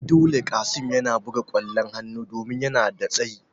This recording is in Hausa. Ai dole Qassim yana buga kwallon hanu domin yana da tsayi